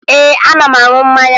Ee, ana m aṅụ mmanya